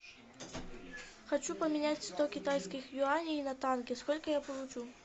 хочу поменять сто китайских юаней на тенге сколько я получу